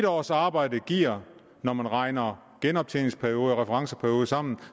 års arbejde giver når man regner genoptjeningsperiode og referenceperiode sammen